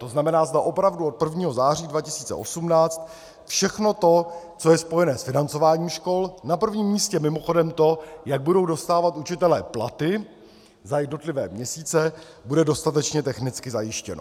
To znamená, zda opravdu od 1. září 2018 všechno to, co je spojené s financováním škol, na prvním místě mimochodem to, jak budou dostávat učitelé platy za jednotlivé měsíce, bude dostatečně technicky zajištěno.